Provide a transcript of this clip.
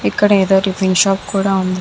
ఇక్కడ ఎదో tiffin shop కూడా ఉంది.